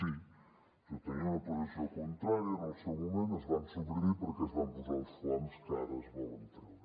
sí jo tenia una posició contrària en el seu moment es van suprimir perquè es van posar els foams que ara es volen treure